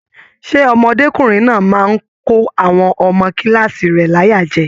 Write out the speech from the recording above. Ṣe ọmọdekunrin náà máa n kò àwọn ọmọ kilaasi rẹ láyà jẹ?